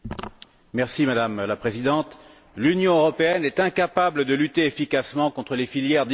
Madame la Présidente, l'Union européenne est incapable de lutter efficacement contre les filières d'immigration.